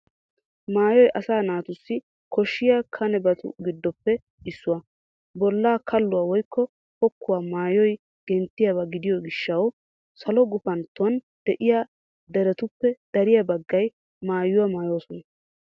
Maayoy asaa naatussi koshshiya kanebatu giddoppe issuwaa. Bollaa kalluwaa woykko pokkuwaa maayoy genttiyaaba gidiyo gishshatawu salo gufantton de'iya deretuppe dariya baggay maayuwaa maayoosona.